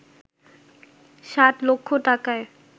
ষাট লক্ষ টাকায়